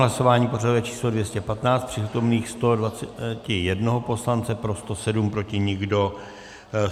Hlasování pořadové číslo 215, z přítomných 121 poslance pro 107, proti nikdo.